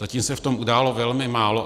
Zatím se v tom udělalo velmi málo.